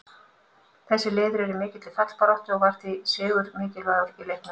Þessi lið eru í mikilli fallbaráttu og var því sigur mikilvægur í leiknum.